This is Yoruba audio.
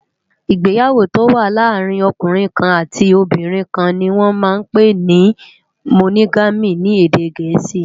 Igbéyàwó tó wà làárin òkúnrin kán àtí óbìrín kán ni wòn mà n pé ni Mónógàmí ni édé gẹẹsi